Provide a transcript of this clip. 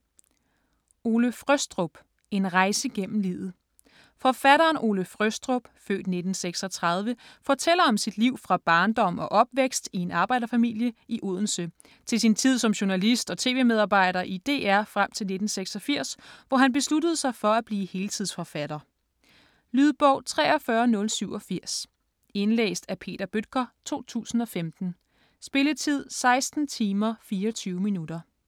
Frøstrup, Ole: En rejse gennem livet Forfatteren Ole Frøstrup (f. 1936) fortæller om sit liv fra barndom og opvækst i en arbejderfamilie i Odense, til sin tid som journalist og tv-medarbejder i DR frem til 1986, hvor han besluttede sig for at blive heltidsforfatter. Lydbog 43087 Indlæst af Peter Bøttger, 2015. Spilletid: 16 timer, 24 minutter.